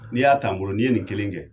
Ni y'a ta n bolo ye nin kelen kɛ